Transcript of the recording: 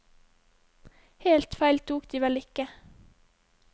Helt feil tok de vel ikke.